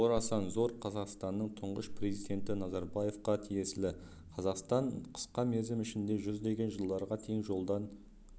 орасан зор қазақстанның тұңғыш президенті назарбаевқа тиесілі қазақстан қысқа мерзім ішінде жүздеген жылдарға тең жолдан